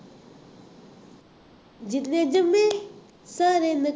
ਮੇ ਸਾਰੇ